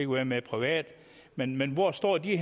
være med private men men hvor står de